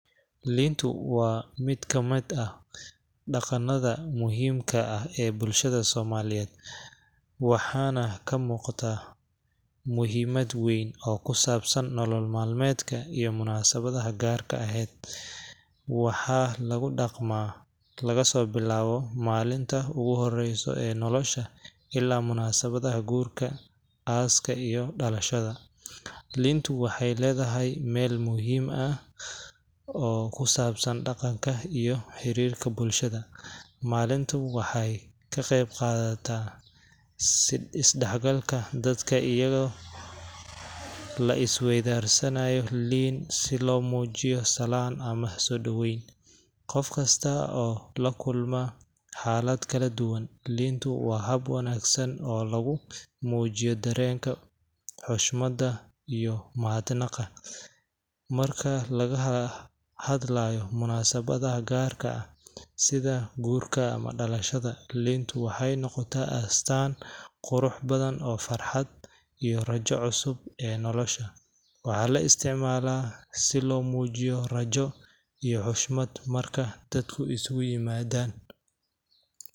Liintu waa mid ka mid ah dhaqannada muhiimka ah ee bulshada Soomaaliyeed, waxaana ka muuqda muhiimad weyn oo ku saabsan nolol maalmeedka iyo munaasabadaha gaarka aheed. Waxaa lagu dhaqmaa, laga soo bilaabo maalinta ugu horeysa ee nolosha ilaa munaasabadaha guurka, aaska, iyo dhalashada. Liintu waxay leedahay meel muhiim ah oo ku saabsan dhaqanka iyo xiriirka bulshada. Maalintu waxay ka qaybqadataa is-dhexgalka dadka, iyadoo la is weydaarsanayo liin si loo muujiyo salaam ama soo dhaweyn. Qof kasta oo la kulma xaalad kala duwan, liintu waa hab wanaagsan oo lagu muujiyo dareenka, xushmadda, iyo mahadnaqa. Marka laga hadlayo munaasabadaha gaarka ah sida guurka ama dhalashada, liintu waxay noqotaa astaan qurux badan oo farxadda iyo rajada cusub ee nolosha. Waxaa la isticmaalaa si loo muujiyo rajo, iyo xushmad, marka dadku isugu yimaadaan.